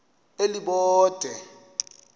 elibode